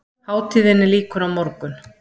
Hátíðinni lýkur á morgun